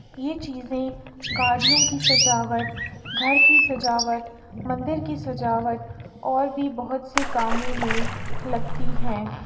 ये चीज़े गाड़ियों की सजावट घर की सजावट मंदिर की सजावट और भी बहोत सी कामों में लगती हैं।